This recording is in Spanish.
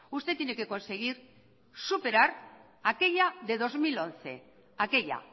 usted tiene que conseguir superar aquella de dos mil once aquella